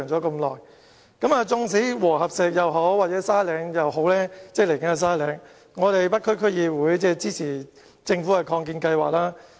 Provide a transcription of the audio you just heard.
無論是和合石墳場或是將來的沙嶺墳場，北區區議會都很支持政府的擴建計劃。